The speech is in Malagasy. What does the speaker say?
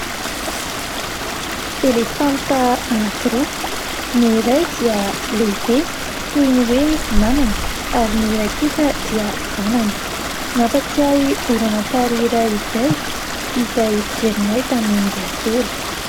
Elefanta anakiroa, ny iray dia lehibe toy ny hoe mamany ary ny iray kosa dia zanany. Mampatsiahy horonantsary iray izay fijerinay tamin'ny mbola kely.